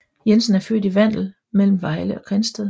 Jensen er født i Vandel mellem Vejle og Grindsted